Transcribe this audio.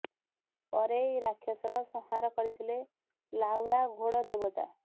ପରେ ଏହି ରାକ୍ଷସର ସଂହାର କରିଥିଲେ ଳାହୁଡ଼ା ଘୋଡ଼ ଦେବତା